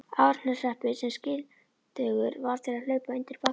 Árneshreppur sem skyldugur var til að hlaupa undir bagga.